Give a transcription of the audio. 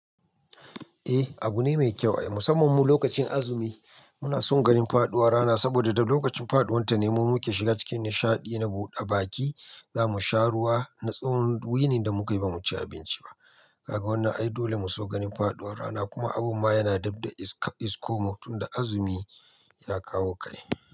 Eh abu ne mai kyau ai musamman mu lokacin azumi muna son ganin faduwar rana saboda da lokacin faduwanta ne mu muke shiga cikin nishaɗi na buɗe baki za mu sha ruwa na tsawon wuni da muka yi ba mu ci abinci ba. Ka ga wannan ai dole mu so ganin faduwar rana kuma abun ma yana dabda iskomu tunda azumi ya kawo kai.